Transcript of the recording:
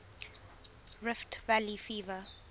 rift valley fever